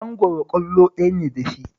Mangwaro ƙwallo ɗaya ne da shi